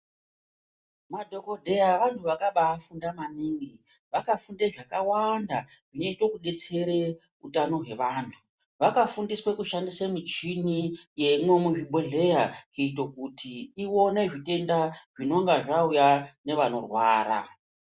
Madhokodheya vantu vakabayi funda maningi vakafunde zvakawanda zvinoite kubetsere utano hwevantu vakafundiswe kushandise michini yemwo muzvibhodhlera kuite kuti ione zvitenda zvinenge zvauya nevanorwara.